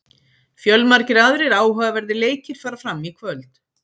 Fjölmargir aðrir áhugaverðir leikir fara fram í kvöld.